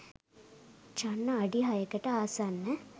චන්න අඩි හයකට ආසන්න